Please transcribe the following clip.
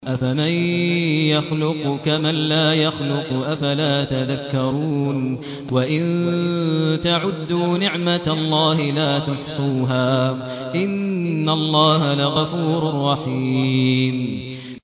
أَفَمَن يَخْلُقُ كَمَن لَّا يَخْلُقُ ۗ أَفَلَا تَذَكَّرُونَ